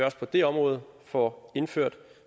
også på det område får indført